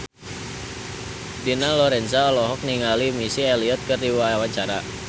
Dina Lorenza olohok ningali Missy Elliott keur diwawancara